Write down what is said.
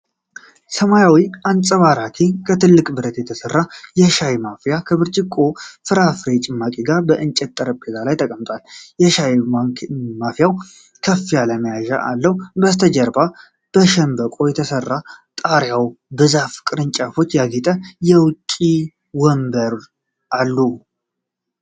ሰማያዊ አንጸባራቂ ከትልቅ ብረት የተሰራ የሻይ ማፍያ ከብርጭቆ የፍራፍሬ ጭማቂ ጋር በእንጨት ጠረጴዛ ላይ ተቀምጧል። የሻይ ማፍያው ከፍ ያለ መያዣ አለው። ከበስተጀርባ በሸንበቆ የተሰራ ጣሪያና በዛፍ ቅርንጫፎች ያጌጠ የውጭ ወንበር አሉ።